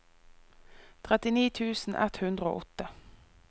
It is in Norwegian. trettini tusen ett hundre og åtte